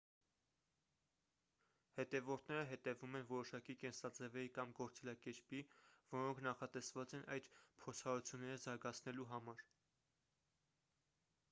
հետևորդները հետևում են որոշակի կենսաձևերի կամ գործելակերպի որոնք նախատեսված են այդ փորձառությունները զարգացնելու համար